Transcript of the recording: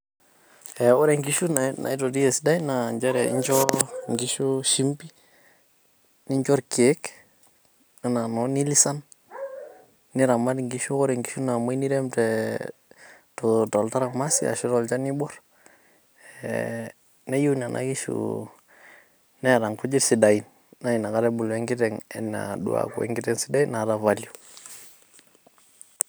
Ah ore nkishu naitoti esidai naa nchere nchoo nkishu shimbi , nincho irkiek anaa noo milisan ,niramat nkishu ore nkishu naumwoi nirem teetoltaramasi ashu tolchani oibor . eeh neyieu nena kishu neeta nkujit sidain naa ina ebulu enkiteng anaa uoo aku enkiteng sidai naata value.